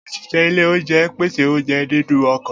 Oṣiṣẹ ile ounjẹ n pese ounjẹ ninu ọkọ.